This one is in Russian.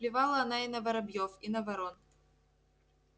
плевала она и на воробьёв и на ворон